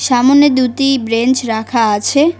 সামোনে দুটি ব্রেঞ্চ রাখা আছে।